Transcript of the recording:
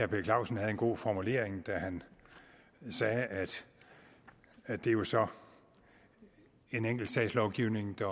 per clausen havde en god formulering da han sagde at at det jo så er en enkeltsagslovgivning der